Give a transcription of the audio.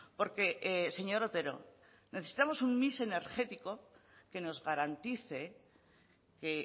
porque señor otero necesitamos un mix energético que nos garantice que